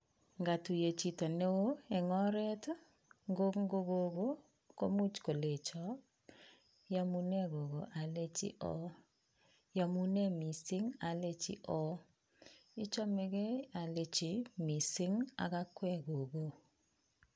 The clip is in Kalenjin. Ngatuiye chito ne oo eng oret ii, ngo ko kogo, komuch kolecho ,iyamune kogo alechi oo, iyamune mising alechi oo, ichomegei alechi mising ak akwek kogo.